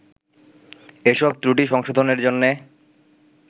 এসব ত্রুটি সংশোধনের জন্যে